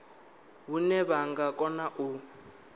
hune vha nga kona u